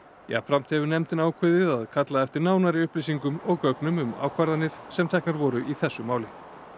jafnframt hefur nefndin ákveðið að kalla eftir nánari upplýsingum og gögnum um ákvarðanir sem teknar voru í þessu máli